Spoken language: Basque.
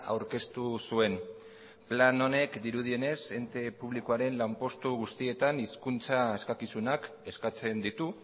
aurkeztu zuen plan honek dirudienez ente publikoaren lanpostu guztietan hizkuntza eskakizunak eskatzen ditu